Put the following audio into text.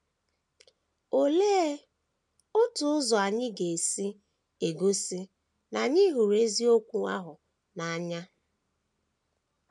Olee otu ụzọ anyị ga - esi egosi na anyị hụrụ eziokwu ahụ n’anya?